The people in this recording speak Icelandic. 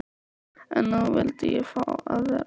En nú vildi ég fá að vera einn.